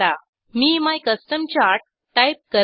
me my custom chart type करत आहे